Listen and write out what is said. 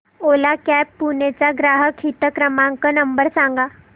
ओला cabs Pune चा ग्राहक हित क्रमांक नंबर सांगा